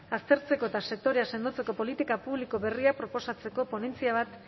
aztertzeko eta sektorea sendotzeko politika publiko berriak proposatzeko ponentzia bat